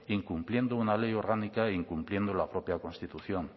incumpliendo una ley orgánica e incumpliendo la propia constitución